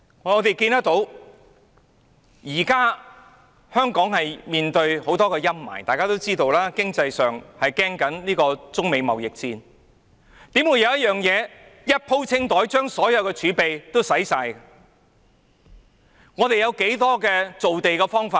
我們看到現時香港面對着許多陰霾，大家都知道，在經濟方面有中美貿易戰的憂慮，我們又怎可以"一鋪清袋"，做一件事把所有儲備花光呢？